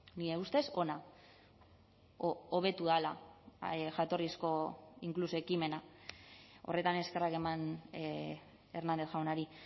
nire ustez ona edo hobetu dela jatorrizko inkluso ekimena horretan eskerrak eman hernández jaunari